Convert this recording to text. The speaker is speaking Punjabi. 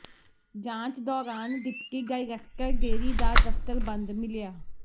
ਜਾਂਚ ਦੌਰਾਨ ਡਿਪਟੀ ਡਾਇਰੈਕਟਰ ਡੇਅਰੀ ਦਾ ਦਫ਼ਤਰ ਬੰਦ ਮਿਲਿਆ